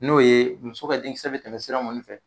N'o ye muso ka denkisɛ bɛ tɛmɛ sira mun fɛ